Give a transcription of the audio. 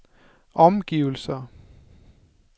omgivelser